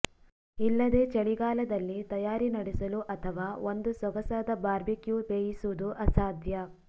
ಇಲ್ಲದೆ ಚಳಿಗಾಲದಲ್ಲಿ ತಯಾರಿ ನಡೆಸಲು ಅಥವಾ ಒಂದು ಸೊಗಸಾದ ಬಾರ್ಬೆಕ್ಯೂ ಬೇಯಿಸುವುದು ಅಸಾಧ್ಯ